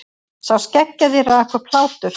Sá skeggjaði rak upp hlátur.